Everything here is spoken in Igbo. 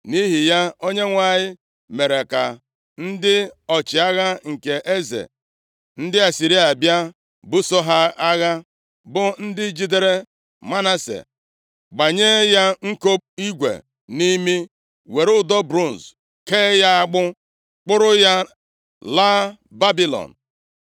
Nʼihi ya, Onyenwe anyị mere ka ndị ọchịagha nke eze ndị Asịrịa bịa buso ha agha, bụ ndị jidere Manase, gbanye ya nko igwe nʼimi, were ụdọ bronz kee ya agbụ, kpọrọ ya laa Babilọn.